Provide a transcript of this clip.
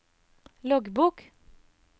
loggbok